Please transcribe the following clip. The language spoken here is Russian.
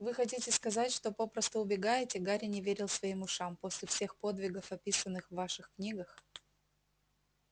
вы хотите сказать что попросту убегаете гарри не верил своим ушам после всех подвигов описанных в ваших книгах